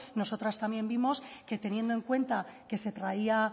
nosotras también vimos que teniendo en cuenta que se traía